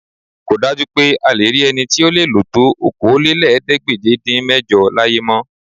Kò dájú pé a lè rí ẹni tí ó lè lò tó Okòólélẹ́ẹ̀ẹ́dégbèje-dín-mẹ́jọ láyé mọ́